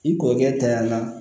I kɔrɔkɛ tanyala